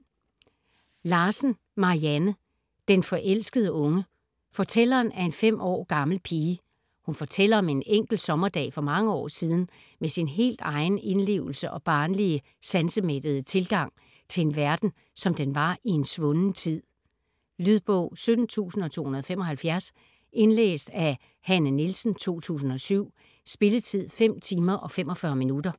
Larsen, Marianne: Den forelskede unge Fortælleren er en 5 år gammel pige. Hun fortæller om en enkelt sommerdag for mange år siden med sin helt egen indlevelse og barnlige, sansemættede tilgang til en verden, som den var i en svunden tid. Lydbog 17275 Indlæst af Hanne Nielsen, 2007. Spilletid: 5 timer, 45 minutter.